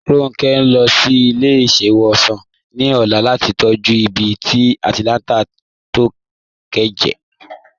Ronke n lọ sí ilẹ̀-iṣẹ̀wosan ní ọ̀là lati tọ̀jú ìbí tí alántàkùn to ke jẹ.